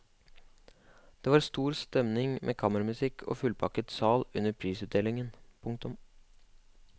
Det var stor stemning med kammermusikk og fullpakket sal under prisutdelingen. punktum